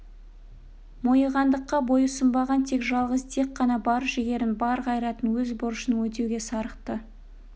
мойығандыққа бойұсынбаған тек жалғыз дик қана бар жігерін бар қайратын өз борышын өтеуге сарықты